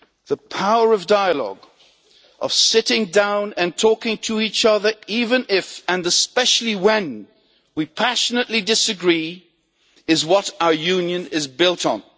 The power of dialogue of sitting down and talking to each other even if, and especially when, we passionately disagree is what our Union is built on.